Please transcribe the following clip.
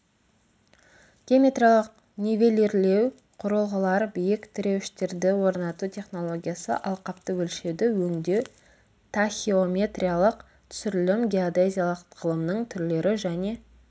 геометриялық нивелирлеу құрылғылар биік тіреуіштерді орнату технологиясы алқапты өлшеуді өңдеу тахеометриялық түсірілім геодезиялық ғылымның түрлері және